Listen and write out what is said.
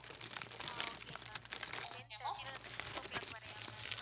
ஆஹ் okay ma'am ten thirty ல இருந்து six o clock வரையா ma'am?